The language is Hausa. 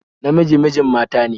Namiji mijin mata ne